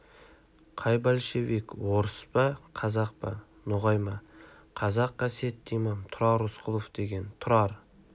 қай большевик орыс па қазақ па ноғай ма қазақ қасиетті имам тұрар рысқұлов деген тұрар